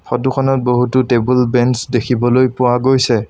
Photo খনত বহুতো টেবুল বেঞ্চ দেখিবলৈ পোৱা গৈছে।